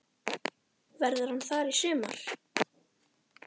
Verður hann þar í sumar?